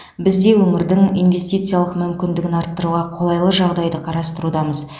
біз де өңірдің инвестициялық мүмкіндігін арттыруға қолайлы жағдайды қарастырудамыз